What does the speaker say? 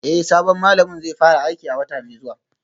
Eh sabon malamin zai fara aiki a wata mai zuwa